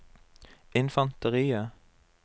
infanteriet